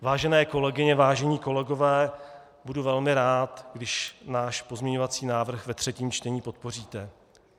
Vážené kolegyně, vážení kolegové, budu velmi rád, když náš pozměňovací návrh ve třetím čtení podpoříte.